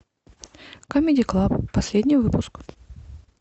камеди клаб последний выпуск